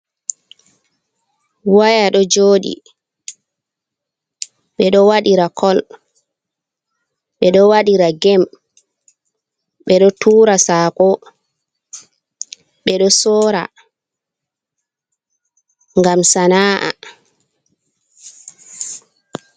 Waya ɗo jooɗi, ɓe ɗo waɗiira kol, ɓe ɗo waɗira geem, ɓe ɗo tuura sako, ɓe ɗo sorra ngam sana’a.